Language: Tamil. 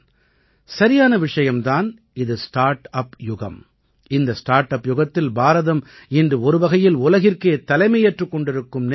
சரியான விஷயம் தான் இது ஸ்டார்ட் அப் யுகம் இந்த ஸ்டார்ட் அப் யுகத்தில் பாரதம் இன்று ஒருவகையில் உலகிற்கே தலைமையேற்றுக் கொண்டிருக்கும் நிலை இருக்கிறது